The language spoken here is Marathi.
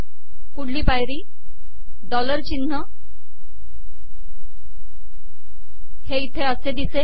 पुढली पायरी डॉलर िचनह हे इथे असे िदसेल